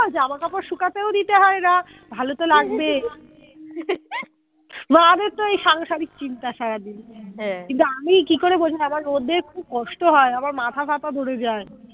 জামা কাপড় শুকাতেও দিতে হয় না ভালো তো লাগবেই। মাদের তো এই সাংসারিক চিন্তা সারাদিন হা কিন্তু আমি কি করে বোঝাই আমার রোদে খুব কষ্ট হয় আমার মাথা ফাতা ধরে যায়